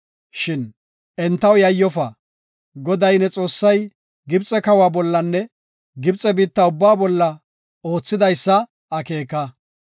Shin entaw yayyofa. Goday, ne Xoossay, Gibxe kawa bollanne Gibxe biitta ubbaa bolla oothidaysa akeeka.